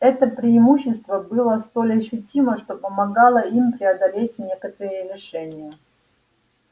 это преимущество было столь ощутимо что помогало им преодолеть некоторые лишения